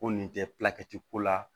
Ko nin tɛ ko la